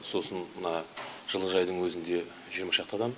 сосын мына жылыжайдың өзінде жиырма шақты адам